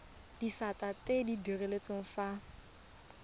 disata tse di direlwang fa